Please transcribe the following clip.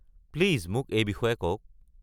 Please মোক এই বিষয়ে কওক।